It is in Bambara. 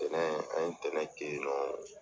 Ntɛnɛn an ye ntɛnɛn kɛ yen nɔ